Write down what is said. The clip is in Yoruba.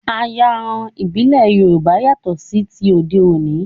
Ayanran ìbílẹ̀ Yorùbá yàtọ̀ sí ti òde òní